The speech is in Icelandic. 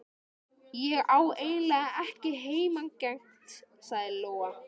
Ég á eiginlega ekki heimangengt, sagði Lóa.